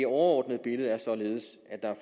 overordnede billede er således at der er